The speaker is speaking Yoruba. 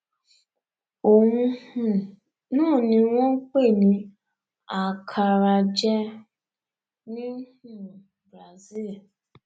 òun um náà ni wọn ń pè ní acaraje ní um brasil